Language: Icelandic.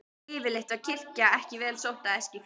Yfirleitt var kirkja ekki vel sótt á Eskifirði.